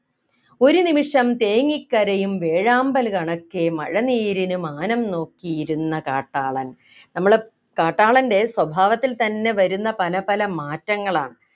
ഒരു നിമിഷം തേങ്ങിക്കരയും വേഴാമ്പൽ കണക്കെ മഴനീരിനു മാനം നോക്കിയിരുന്ന കാട്ടാളൻ നമ്മളെ കാട്ടാളൻ്റെ സ്വഭാവത്തിൽ തന്നെ വരുന്ന പലപല മാറ്റങ്ങളാണ്